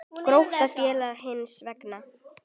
Grótta féll hins vegar.